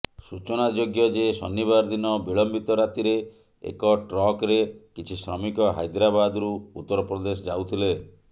ସୂଚନାଯୋଗ୍ୟ ଯେ ଶନିବାର ଦିନ ବିଳମ୍ବିତ ରାତିରେ ଏକ ଟ୍ରକରେ କିଛି ଶ୍ରମିକ ହାଇଦ୍ରାବାଦରୁ ଉତ୍ତରପ୍ରଦେଶ ଯାଉଥିଲେ